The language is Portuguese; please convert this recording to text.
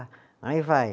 Aí vai.